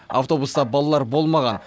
автобуста балалар болмаған